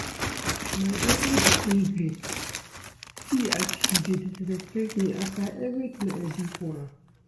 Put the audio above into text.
My daughter be ingrate. See as she dey disrespect me after everything I do for am